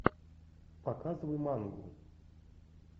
показывай мангу